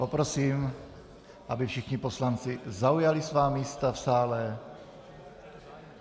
Poprosím, aby všichni poslanci zaujali svá místa v sále.